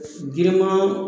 Giriman